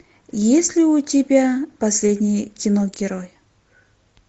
есть ли у тебя последний киногерой